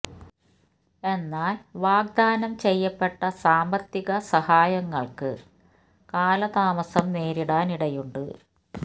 എന്നാൽ വാഗ്ദാനം ചെയ്യപ്പെട്ട സാമ്പത്തിക സഹായങ്ങൾക്ക് കാല താമസം നേരിടാൻ ഇടയുണ്ട്